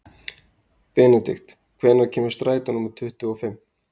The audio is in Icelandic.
Benidikt, hvenær kemur strætó númer tuttugu og fimm?